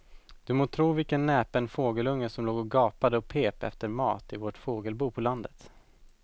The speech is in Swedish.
Du må tro vilken näpen fågelunge som låg och gapade och pep efter mat i vårt fågelbo på landet.